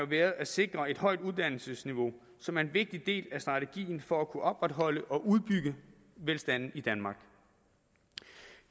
været at sikre et højt uddannelsesniveau som er en vigtig del af strategien for at kunne opretholde og udbygge velstanden i danmark